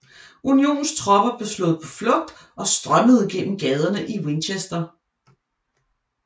Unionens tropper blev slået på flugt og strømmede gennem gaderne i Winchester